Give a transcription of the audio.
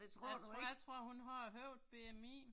Jeg tror jeg tror hun har højt BMI